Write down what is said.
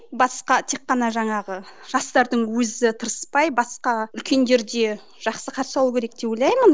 басқа тек қана жаңағы жастардың өзі тырыспай басқа үлкендер де жақсы қарсы алу керек деп ойлаймын